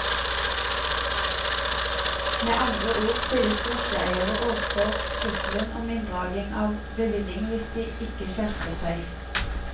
Med andre ord stilles drosjeeierne overfor trusselen om inndragning av bevilling hvis de ikke skjerper seg.